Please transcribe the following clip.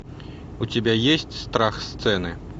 у тебя есть страх сцены